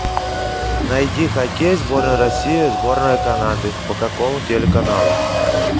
найди хоккей сборная россии сборная канады по какому телеканалу